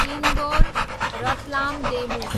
Indore, Ratlam DEMU